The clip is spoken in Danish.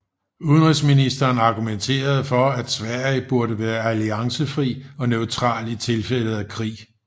Udenrigsminsteren argumenterede for at Sverige burde være alliancefri og neutral i tilfælde af krig